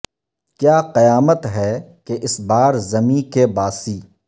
کیا قیامت ہے کہ اس بار زمیں کے باسی